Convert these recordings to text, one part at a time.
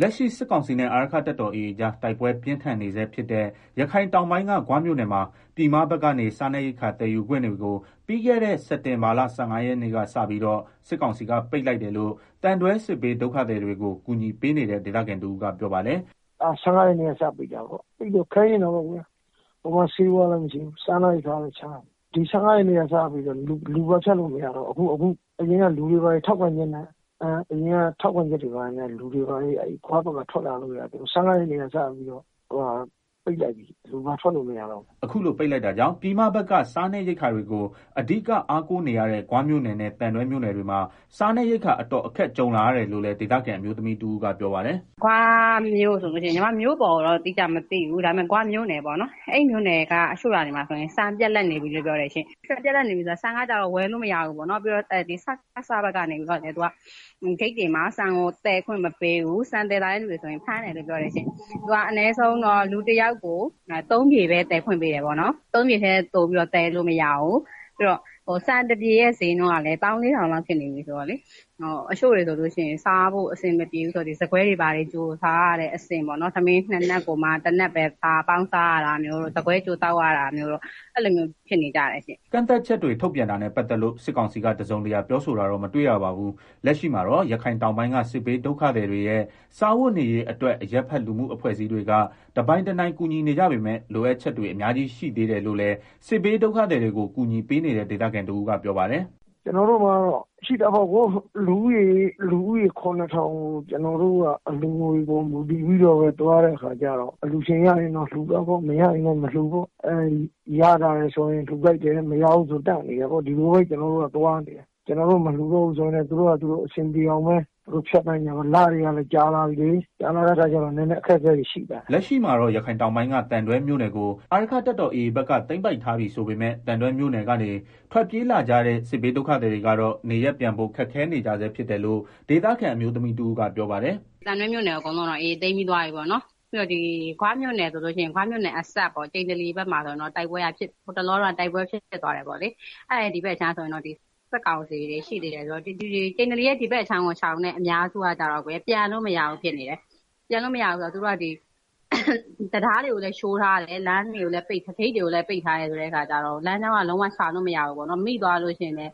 လက်ရှိစစ်ကောင်စီနဲ့ အာရက္ခတပ်တော် AA အကြား တိုက်ပွဲပြင်းထန်နေဆဲဖြစ်တဲ့ ရခိုင်တောင်ပိုင်းက ဂွမြို့နယ်မှာ ပြည်မဘက်ကနေစားနပ်ရိက္ခာသယ်ယူခွင့်တွေကို ပြီးခဲ့တဲ့ စက်တင်ဘာလ ၁၅ရက်နေ့က စပြီးတော့ စစ်ကောင်စီက ပိတ်လိုက်တယ်လို့ သံတွဲ စစ်ဘေးဒုက္ခသည် တွေကို ကူညီပေးနေတဲ့ ဒေသခံတဦး ကပြောပါတယ်။ “ ၁၅ရက်နေ့က စပြီးတော့ ပိတ်လိုက်တာ၊ အခုက ဆေးဝါးလည်းမရှိဘူး စားနပ်ရိက္ခာက လည်းရှားတယ်၊ ဒီ ၁၅ရက်နေ့ကစပြီးတော့ လူပါဖြတ်လို့မရတော့ဘူး၊ အရင်ကလူတွေဘာတွေက ထောက်ခံချက်နဲ့ ဂွဘက်က ထွက်လာလို့ရသေးတယ်။အခုကပိတ်လိုက်ပြီ လူလည်း ထွက်လို့မရတော့ဘူး။” အခုလို ပိတ်လိုက်တာကြောင့် ပြည်မဘက်ကို စားနပ်ရိက္ခာတွေကို အဓိကအားကိုးနေရတဲ့ ဂွမြို့နယ်နဲ့ သံတွဲမြို့နယ်တွေမှာ စားနပ်ရိက္ခာအတော်အခက်ကြုံလာရတယ်လို့လည်း ဒေသခံ အမျိုးသမီးတဦးကပြောပါတယ်။ “ ဂွမြို့နယ်ထဲက တချို့ ရွာတွေမှာ ဆိုရင် ဆန်ပြတ်လပ်နေပြီလို့ပြောတယ်၊ ဆန်က ဝယ်လို့မရဘူး၊ စကစဘက်ကလည်း ဂိတ်တွေမှာ ဆန်ကို သယ်ခွင့်မပေးဘူး၊ ဆန်သယ်လာတဲ့ သူတွေကို ဖမ်းတယ်လို့ ပြောတယ်ရှင့်၊ အနည်းဆုံး က လူတယောက်ကို ၃ပြည်ပဲ သယ်ခွင့်ပေးတယ်၊ အဲထက်ပို သယ်လို့မရဘူး။ ပြီးတော့ ဆန်တပြည်ရဲ့ ဈေးနှုန်းကလည်း ၁၄ဝဝဝလောက်ဖြစ်နေပြီဆိုတော့လေ တချို့တွေဆိုရင် စားဖို့ အဆင်မပြေလို့ဆန်ခွဲတွေ ဘာတွေကို စားရတဲ့ အဆင့် တမင်းနှစ်နပ်ကို တနပ်ပေါင်း စားရတာမျိုး။” ကန့်သတ်ချက်တွေ ထုတ်ပြန်တာနဲ့ ပတ်သက်လို့ စစ်ကောင်စီက တစုံတရာ ပြောဆိုတာတော့ မတွေ့ရပါဘူး။ လက်ရှိမှာတော့ ရခိုင်တောင်ပိုင်းက စစ်ဘေးဒုက္ခသည်တွေရဲ့ စားဝတ်နေရေးအတွက် အရပ်ဘက်လှုမှုအဖွဲ့အစည်း တွေက တပိုင်တနိုင်ကူညီနေကြပေမယ့် လိုအပ်ချက်တွေ အများကြီး ရှိသေးတယ်လို့လည်း စစ်ဘေးဒုက္ခသည်တွေကို ကူညီပေးနေတဲ့ ဒေသခံတဦး ကပြောပါတယ်။ “ လူဦးရေ ၇ ထောင်လောက်ကို ကျနော်တို့က အလှူငွေပေါ် မူတည်ပြီးတော့ သွားနေရတာ ဆို တော့လေ၊အလှူရှင်ရရင်တော့ လှူတာပေါ့ အလှူရှင်မရရင်လည်း မလှူးဘူးပေါ့၊ ရရင်လှူ တယ် မရရင် ရပ်ထားတယ် ဒီလိုပဲ ကျနော်တို့ ကျနော်တို့ မလှူတော့လည်း သူတို့ပါ သူတို့ အဆင်ပြေအောင် ဖြတ်သန်းကြတာပေါ့။ လတွေကလည်း ကြာလာပြီလေ ဆိုတော့အခက် အခဲတွေတော့ နည်းနည်း ရှိကြတာပေါ့။” လက်ရှိမှာတော့ ရခိုင်တောင်ပိုင်းက သံတွဲမြို့နယ်ကို အာရက္ခတပ်တော်AAဘက်က သိမ်းပိုက်ထားပြီ ဆိုပေမယ့် သံတွဲမြို့နယ်ကနေ ထွက်ပြေးလာကြာတဲ့ စစ်ဘေးဒုက္ခသည်တွေကတော့ နေရပ်ပြန်ဖို့ ခက်ခဲနေကြဆဲ ဖြစ်တယ်လို့ ဒေသခံအမျိုးသမီးတဦးကပြောပါတယ်။ “သံတွဲမြို့နယ် အကုန်လုံးကိုတော့ AA က သိမ်းပြီး သွားပြီပေါ့နော်၊ ပြီးတော့ ဂွမြို့နယ်အစပ် ကျိန္တိလီဘက်မှာ ဆိုရင်လည်း ဟိုတလောကပဲ တိုက်ပွဲတွေ ဖြစ်သွားတာဆိုတော့လေ၊ ဒီဘက် အခြမ်းမှာဆိုတော့စစ်ကောင်စီတွေ ရှိသေးတယ်ပေါ့လေ၊ ဆိုတော့ ကျိန္တလီရဲ့ ဒီဘက်အခြမ်း ကို ရှောင်တဲ့ သူတွေက ပြန်လို့မရဖြစ်နေတယ်။ သူတို့က တံတားတွေကိုလည်း ချိုးထားတယ် လမ်းတွေ ဂိတ်တွေကိုလည်း ပိတ်ထားတာဆိုတော့ လမ်းကြောင်းက မရှိဘူး သွားလို့ မိသွား ရင်လည်း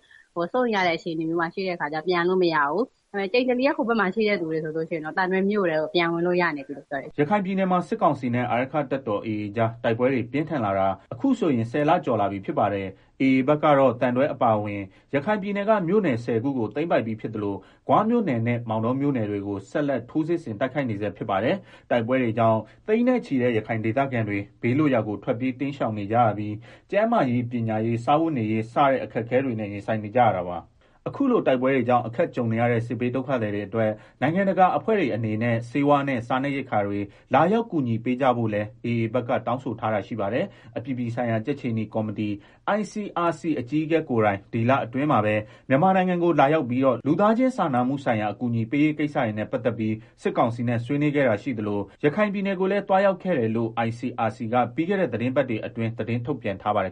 စိုးရိမ်ရတဲ့ အခြေအနေမှာ ရှိနေတဲ့ အခါကျတော့ ပြန်လို့မရဘူး၊ ကျိန္တလီရဲ့ မြို့ဟို ဘက်အခြမ်းမှာ ရှိတဲ့ သူတွေကတော့ သံတွဲ မြို့ထဲကို ပြန်လို့ရပြီလို့ ပြောကြပါတယ်။” ရခိုင်ပြည်နယ်မှာ စစ်ကောင်စီနဲ့ အာရက္ခတပ်တော်AA ကြား တိုက်ပွဲတွေ ပြင်းထန်လာတာ အခုဆိုရင် ၁ဝလကျော်လာပြီဖြစ်ပါတယ်။AAဘက်ကတော့ သံတွဲအပါအဝင် ရခိုင်ပြည်နယ် က မြို့နယ် ၁ဝခုကို သိမ်းပိုက်ပြီးဖြစ်သလို ဂွမြို့နယ်နဲ့ မောင်တောမြို့ နယ်တွေကို ဆက်လက်ထိုးစစ်တိုက်ခိုက်နေဆဲဖြစ်ပါတယ်။ တိုက်ပွဲတွေကြောင့် သိန်းနဲ့ချီတဲ့ ရခိုင်ဒေသခံတွေ ဘေးလွတ်ရာကို ထွက်ပြေးတိမ်းရှောင်နေကြရပြီး ကျန်းမာရေး ပညာရေး စားဝတ်နေရေးစတဲ့ အခက်အခဲတွေနဲ့ ရင်ဆိုင်နေကြရတာပါ။ အခုလို တိုက်ပွဲတွေကြောင့် အခက်ကြုံနေရတဲ့ စစ်ဘေးဒုက္ခသည်တွေအတွက် နိုင်ငံတကာ အဖွဲ့တွေအနေနဲ့ ဆေးဝါးနဲ့ စားနပ်ရိက္ခာတွေလာရောက်ကူညီပေးကြဖို့လည်း AA ဘက်က တောင်းဆိုထားတာရှိပါတယ်။ အပြည်ပြည်ဆိုင်ရာ ကြက်ခြေနီ ကော်မတီ ICRC အကြီးအကဲ ကိုယ်တိုင် ဒီလအတွင်းမှာပဲ မြန်မာနိုင်ငံကို လာရောက်ပြီးတော့ လူသားချင်းစာနာမှုဆိုင်ရာ အကူအညီပေးရေးကိစ္စတွေနဲ့ ပတ်သက်ပြီး စစ်ကောင်စီနဲ့ ဆွေးနွေးခဲ့တာရှိသလို ရခိုင်ပြည်နယ်ကိုလည်း သွားရောက်ခဲ့တယ်လို့ ICRC က ပြီးခဲ့တဲ့သီတင်းပတ်တွေအတွင်း သတင်းထုတ်ပြန်ထားပါတယ်